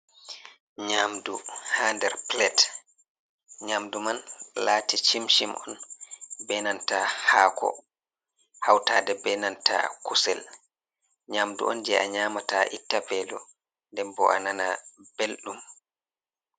Nyamdu ha nder pilate, nyamdu man lati chim-chim on be nanta haako hautade be nanta kusel. Nyamdu on je a nyamata itta velo nden bo anana belɗum.